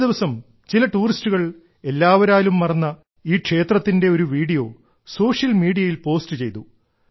ഒരുദിവസം ചില ടൂറിസ്റ്റുകൾ എല്ലാവരാലും മറന്ന ഈ ക്ഷേത്രത്തിന്റെ ഒരു വീഡിയോ സോഷ്യൽ മീഡിയയിൽ പോസ്റ്റ് ചെയ്തു